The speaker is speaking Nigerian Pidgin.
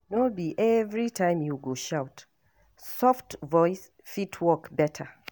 No be every time you go shout, soft voice fit work better.